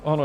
Ano.